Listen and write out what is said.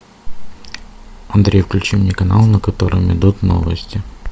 андрей включи мне канал на котором идут новости